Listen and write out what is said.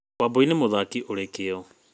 Wambũi nĩ mũthaki ũrĩ kĩo.